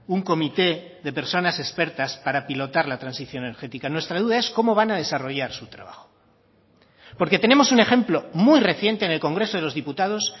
un comité de personas expertas para pilotar la transición energética nuestra duda es cómo van a desarrollar su trabajo porque tenemos un ejemplo muy reciente en el congreso de los diputados